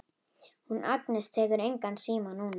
Hún Agnes tekur engan síma núna.